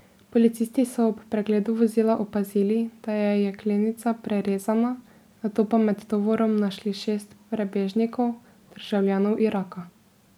Policisti so ob pregledu vozila opazili, da je jeklenica prerezana, nato pa med tovorom našli šest prebežnikov, državljanov Iraka.